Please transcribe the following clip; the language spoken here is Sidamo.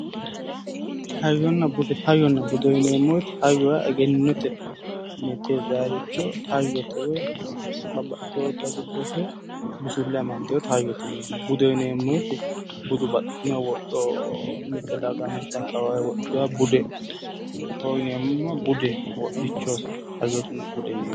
Hayyonna bude, hayyonna bude yineemo woyiite hayyo yaa egenotenni tirayiricho hayyotte woyi babbaxitoyore giddose busulle amadoyootta hayyotte yineemo. Budeho yineemo woyiitte budu baxinno wodho mitte daga mitte akawaawe wodhitoyotta budeho yineemo, bude wodhicho, hayyonna bude yineemmo.